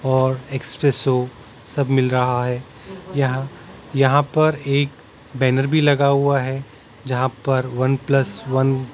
और एक्सप्रेसो सब मिल रहा हैं यहाँ यहाँ पर एक बैनर भी लगा हुआ हैं जहाँ पर वनप्लस वन --